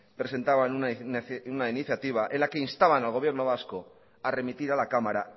presentaban una iniciativa en la que instaban al gobierno vasco a remitir a la cámara